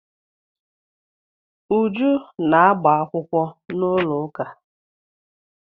Uju na agba-akwụkwọ n'ụlọụka.